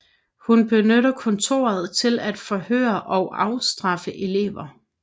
Hun benytter kontoret til at forhøre og afstraffe elever